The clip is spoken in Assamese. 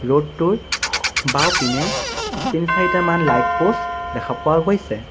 ৰোড টোৰ সো বাওঁপিনে তিনি-চাৰিটামান লাইট পোষ্ট দেখা পোৱা গৈছে।